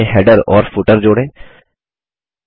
document में header और footer जोड़ें